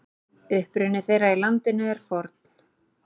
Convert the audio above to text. Uppruni þeirra í landinu er forn.